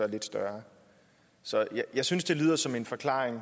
lidt større så jeg synes det lyder som en forklaring